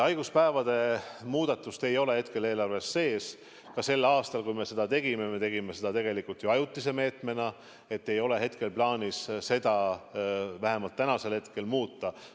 Haiguspäevade muudatust ei ole hetkel eelarves sees, ka sel aastal, kui me seda tegime, me tegime seda ju ajutise meetmena, vähemalt hetkel ei ole plaanis seda muuta.